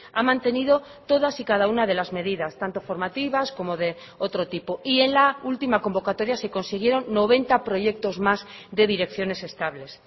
ha mantenido todas y cada una de las medidas tanto formativas como de otro tipo y en la última convocatoria se consiguieron noventa proyectos más de direcciones estables